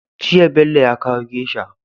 Jiya Bello ya kawo geisha